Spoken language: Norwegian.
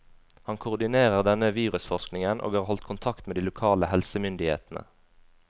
Han koordinerer denne virusforskningen, og har holdt kontakt med de lokale helsemyndighetene.